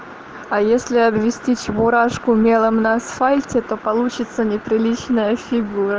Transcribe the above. а если обвести чебурашку мелом на асфальте то получится неприличная фигура